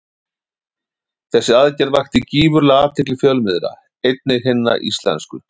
Þessi aðgerð vakti gífurlega athygli fjölmiðla, einnig hinna íslensku.